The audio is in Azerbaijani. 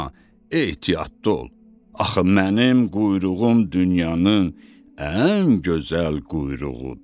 Amma ehtiyatlı ol, axı mənim quyruğum dünyanın ən gözəl quyruğudur.